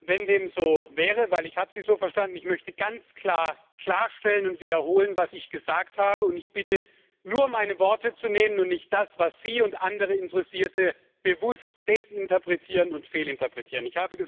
Wenn dem so wäre denn ich habe Sie so verstanden, ich möchte ganz klar klarstellen und wiederholen, was ich gesagt habe, und ich bitte, nur meine Worte zu nehmen und nicht das, was Sie und andere Interessierte bewusst desinterpretieren und fehlinterpretieren.